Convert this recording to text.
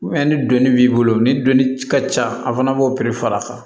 ni dɔnni b'i bolo ni doni ka ca an fana b'o piri far'a kan